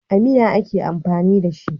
A miya ake amfani da shi.